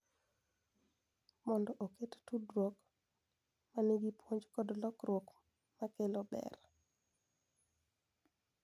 Mondo oket tudruok ma nigi puonj kod lokruok ma kelo ber.